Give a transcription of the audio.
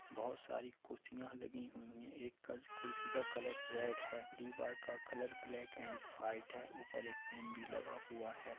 बहुत सारी कुर्शिया लगी हुई हैं एक कच कुर्शि का कलर रेड हैं दीवाल का कलर ब्लेक एंड वाईट हैं ऊपर एक फेन भी लगा हुआ हैं।